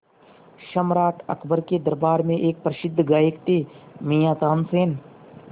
सम्राट अकबर के दरबार में एक प्रसिद्ध गायक थे मियाँ तानसेन